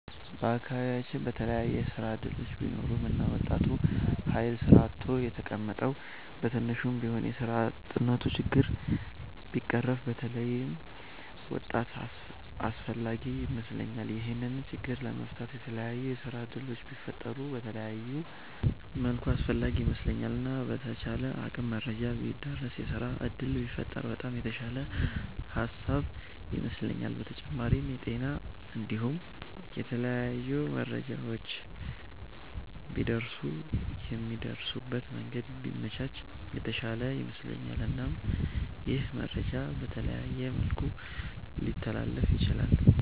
በአከባቢያቺን በተለየ የስራ እድሎች ቢኖሩ እና ወጣቱ ሀይል ስራ አጥቶ የተቀመጠዉ በትንሹም ቢሆን የስራ አጥነቱ ችግር ቢቀረፍ በተለይ በጣም አስፍላጊ ይመስለኛል። ይሄንን ችግር ለመፍታት የተላያዩ የስራ እድሎች ቢፈጠሩ በተለየ መልኩ አስፈላጊ ይመስለኛል። እና በተቻለ አቅም መረጃ ቢዳረስ የስራ እድል ቢፈጠር በጣም የተሻለ ሃሳብ ይመስለኛል። በተጫማሪም የጤና እንዲሁም የተለያዩ መረጃዎች ቢደርሱ የሚደርሱበት መንገድ ቢመቻች የተሻለ ይመስለኛል። እናም ይህ መረጃ በተለያየ መልኩ ሊተላለፍ ይችላል።